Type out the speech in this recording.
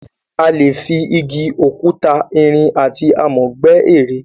A lè fi Igi, òkúta, irin, àti amọ̀ gbẹ́ ère.